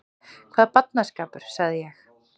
Hvaða barnaskapur sagði ég.